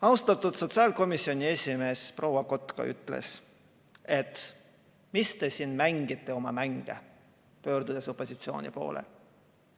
Austatud sotsiaalkomisjoni esimees proua Kotka ütles, et mis te siin mängite oma mänge, pöördudes opositsiooni poole.